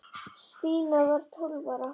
Stína var tólf ára.